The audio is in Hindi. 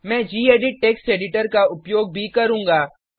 मैं गेडिट टेक्स्ट एडिटर का उपयोग भी करूँगा